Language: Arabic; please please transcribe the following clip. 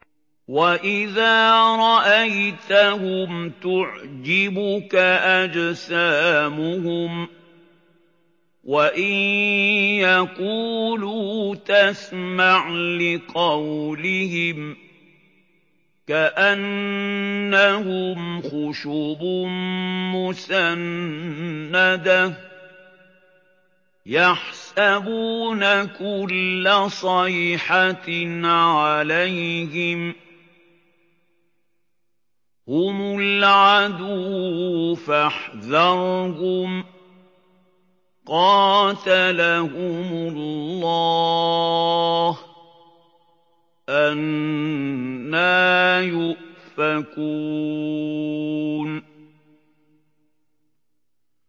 ۞ وَإِذَا رَأَيْتَهُمْ تُعْجِبُكَ أَجْسَامُهُمْ ۖ وَإِن يَقُولُوا تَسْمَعْ لِقَوْلِهِمْ ۖ كَأَنَّهُمْ خُشُبٌ مُّسَنَّدَةٌ ۖ يَحْسَبُونَ كُلَّ صَيْحَةٍ عَلَيْهِمْ ۚ هُمُ الْعَدُوُّ فَاحْذَرْهُمْ ۚ قَاتَلَهُمُ اللَّهُ ۖ أَنَّىٰ يُؤْفَكُونَ